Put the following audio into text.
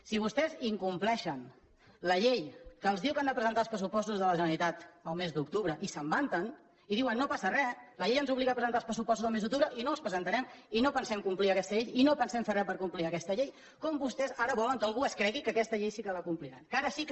si vostès incompleixen la llei que els diu que han de presentar els pressupostos de la generalitat el mes d’octubre i se’n vanten i diuen no passa re la llei ens obliga a presentar els pressupostos el mes d’octubre i no els presentarem i no pensem complir aquesta llei i no pensem fer re per complir aquesta llei com vostès ara volen que algú es cregui que aquesta llei sí que la compliran que ara sí que